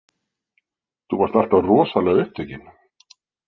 Þú varst alltaf rosalega upptekin.